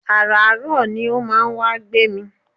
Àràárọ̀ ni ó máa wá ń gbé mi